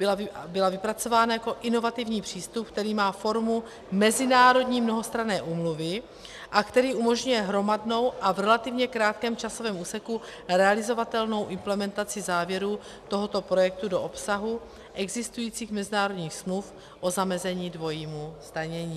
Byla vypracována jako inovativní přístup, který má formu mezinárodní mnohostranné úmluvy a který umožňuje hromadnou a v relativně krátkém časovém úseku realizovatelnou implementaci závěrů tohoto projektu do obsahu existujících mezinárodních smluv o zamezení dvojímu zdanění.